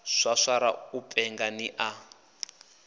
swaswara u penga ni a